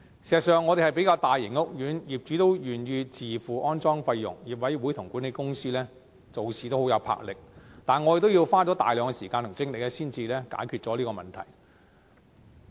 事實上，我們雖然是比較大型的屋苑，而且業主願意自付安裝費用，業委會和管理公司做事也很有魄力，但我們也要花大量時間和精力才能解決問題。